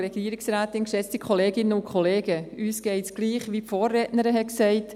Uns geht es gleich, wie es die Vorrednerin gesagt hat: